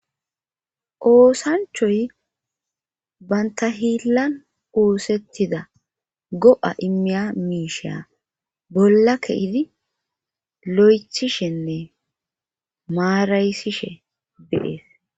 oosanchoy banta hiillan oosettida go7a immiya miisha bolla ke'idi lo7ethishenne maaraysishe de'es